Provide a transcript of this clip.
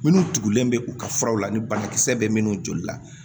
Minnu tugulen bɛ u ka furaw la ni banakisɛ bɛ minnu joli la